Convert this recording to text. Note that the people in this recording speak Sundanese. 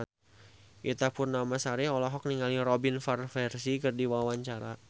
Ita Purnamasari olohok ningali Robin Van Persie keur diwawancara